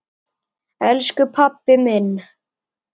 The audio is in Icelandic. Elsku pabbi minn!